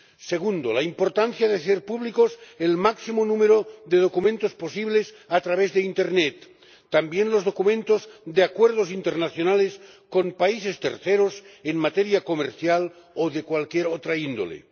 segundo, la importancia de hacer público el máximo número de documentos posible a través de internet, también los documentos de acuerdos internacionales con terceros países en materia comercial o de cualquier otra índole